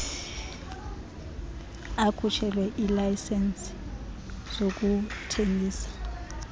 akhutshelwe iilayisenisi zokuthengisa